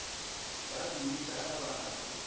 ba dimmitara ba na le